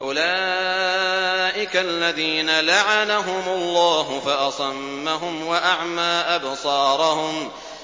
أُولَٰئِكَ الَّذِينَ لَعَنَهُمُ اللَّهُ فَأَصَمَّهُمْ وَأَعْمَىٰ أَبْصَارَهُمْ